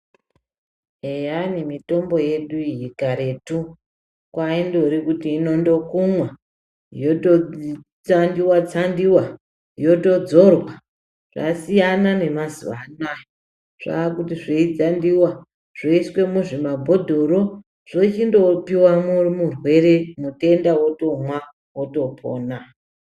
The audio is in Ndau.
Eyani mitombo yedu iyi karetu kwoindori kuti ingokumwa yototsandiwa tsandiwa yotodzorwa zvasiyana nemazuwa ano ,zvava kuti zvei tsandiwa yoiswa musvi mabhodhoro yotopiwa murwe mutenda otomwa otopona.